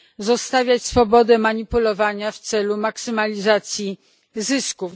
zostawiać swobodę manipulowania w celu maksymalizacji zysków.